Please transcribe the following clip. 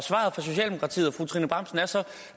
fru trine bramsen er så at